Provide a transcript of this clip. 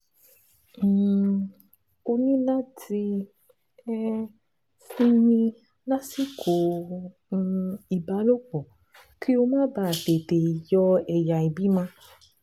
um O ní láti um sinmi lásìkò um ìbálòpọ̀ kó o má bàa tètè yọ ẹ̀yà ìbímọ